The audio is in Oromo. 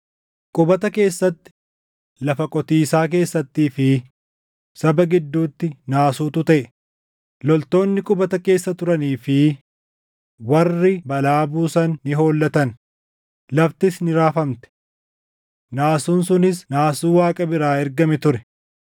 Qubata keessatti, lafa qotiisaa keessattii fi saba gidduutti naasuutu taʼe; loltoonni qubata keessa turanii fi warri balaa buusan ni hollatan; laftis ni raafamte. Naasuun sunis naasuu Waaqa biraa ergame ture.